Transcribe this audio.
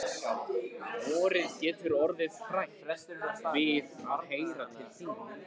Vorið getur orðið hrætt við að heyra til þín.